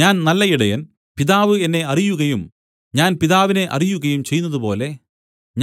ഞാൻ നല്ല ഇടയൻ പിതാവ് എന്നെ അറിയുകയും ഞാൻ പിതാവിനെ അറിയുകയും ചെയ്യുന്നതുപോലെ